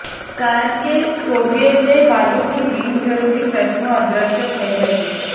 કારણ કે સોવિયેત બાજુથી બિનજરૂરી પ્રશ્નો અદ્રશ્ય થઇ ગઇ